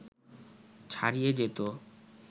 ছাড়িয়ে যেত